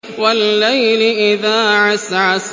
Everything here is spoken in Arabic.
وَاللَّيْلِ إِذَا عَسْعَسَ